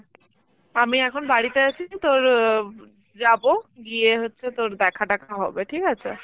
আমি এখন বাড়িতে আছি তোর অ যাব, গিয়ে হচ্ছে তোর দেখা তেখা হবে ঠিক আছে?